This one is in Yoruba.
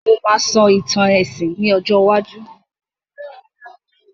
Mo máà sọ ìtàn èsìn ní ọjọ́ iwájú